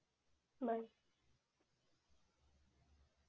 bye